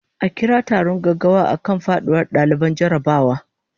A kira taron gaggawa akan faduwar daliban jarrabawa